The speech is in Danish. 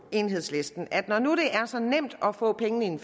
enhedslisten at når nu det er så nemt at få pengene ind